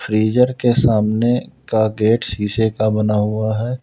Freezer के सामने का गेट शीशे का बना हुआ है।